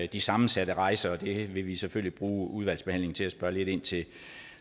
de sammensatte rejser er og det vil vi selvfølgelig bruge udvalgsbehandlingen til at spørge lidt ind til